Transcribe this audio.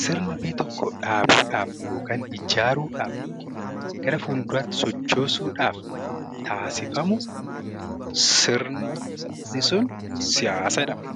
sirna biyya tokko dhaabuu dhaaf yookaan ijaaruu dhaaf yookiin gara fuulduraatti sochoosuu dhaaf taasifamu sirni sun 'Siyaasa' jedhama.